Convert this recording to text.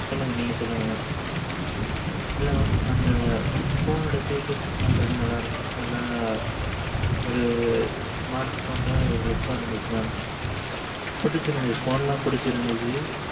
சொல்லுங்க. நீங்க சொல்லுங்க mam இல்ல அந்த phone ஒட feature ஒட லாம் ஒரு smart phone look ஆ இருந்திச்சி phone லாம் பிடிச்சி இருந்திச்சி